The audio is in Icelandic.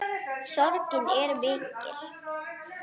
Sorgin er mikill.